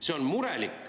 See on murelik ….